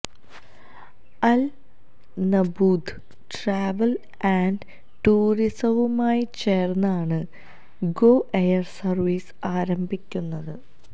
Al Nabooda travel and ടൂറിസവുമായി ചേര്ന്നാണ് Go Air service ആരംഭിക്കുന്നത്